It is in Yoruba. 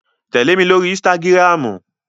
Tẹle mi lori ínsìtágirámu!